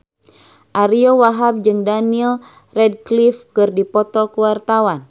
Ariyo Wahab jeung Daniel Radcliffe keur dipoto ku wartawan